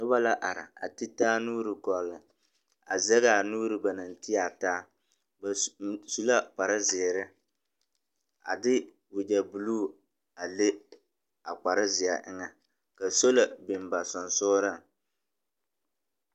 Noba la are a te taa nuuri gͻlle, a zԑŋaa nuuri ba naŋ te a taa. Ba su su la kpare zeere a de wagyԑ buluu a le a kpare zeԑ eŋԑ. Ka sola biŋ ba sensogeliŋ.